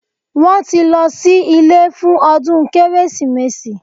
Wọ́n tí lọ sí ilé fún ọdún Kérésìmesì